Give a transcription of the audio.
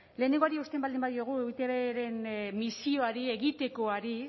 lehenengoari eusten baldin badiogu eitbren misioari egitekoari